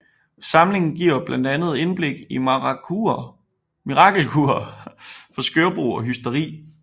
Samlingen giver blandt andet indblik i mirakelkurer for skørbug og hysteri